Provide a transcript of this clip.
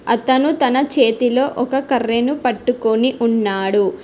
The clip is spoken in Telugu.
అతను తన చేతిలో ఒక కర్రెను పట్టుకొని ఉన్నాడు.